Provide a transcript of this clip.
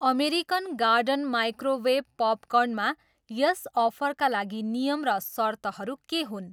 American garden microwave पपकर्नमा यस अफरका लागि नियम र सर्तहरू के हुन्?